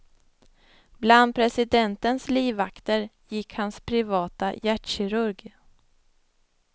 Bland presidentens livvakter gick hans privata hjärtkirurg.